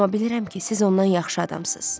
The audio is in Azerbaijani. Amma bilirəm ki, siz ondan yaxşı adamsız.